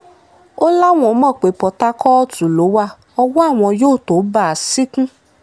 ó láwọn mọ̀ pé pọ́tàkọ́ọ̀tù ló wá ọwọ́ àwọn yóò tóó bá a ṣìnkún